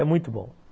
É muito bom.